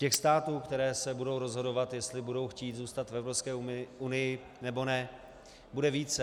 Těch států, které se budou rozhodovat, jestli budou chtít zůstat v Evropské unii, nebo ne, bude více.